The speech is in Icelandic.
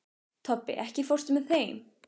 Tobbi, ekki fórstu með þeim?